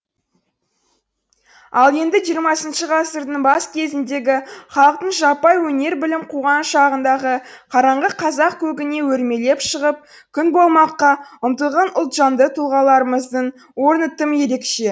ал енді жиырмасыншы ғасырдың бас кезіндегі халықтың жаппай өнер білім қуған шағындағы қараңғы қазақ көгіне өрмелеп шығып күн болмаққа ұмтылған ұлтжанды тұлғаларымыздың орны тым ерекше